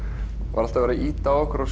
var alltaf verið að ýta á okkur að